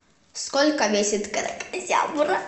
сколько весит кракозябра